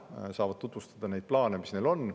Nad saavad tutvustada neid plaane, mis neil on.